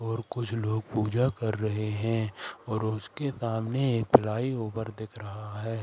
और कुछ लोग पूजा कर रहे हैं और उसके सामने एक फ्लाई ओवर दिख रहा है।